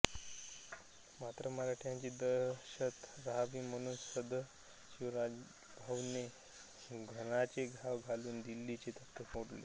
मात्र मराठ्यांची दहशत रहावी म्हणून सदशिवरावभाऊने घणाचे घाव घालुन दिल्लीचे तख्त फोडले